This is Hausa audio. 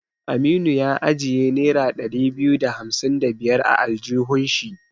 Aminu ya ajiye nera ɗari biyu da hamsin da biyar a aljihun shi.